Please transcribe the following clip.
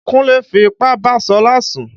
Kúnlé fi ipá bá Ṣọlá sùn.